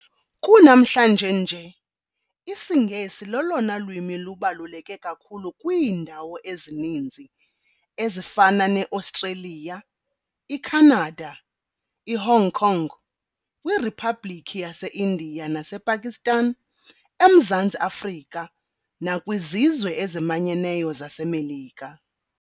Kunamhlanje nje, isingesi lolona lwimi lubaluleke kakhulu kwiindawo ezininzi, ezifana neAustreliya, iKhanada, iHong Kong, kwRhiphabhlikhi yaseIndia nasePakistan, eMzantsi Afrika, nakwizizwe ezimanyeneyo zaseMelika,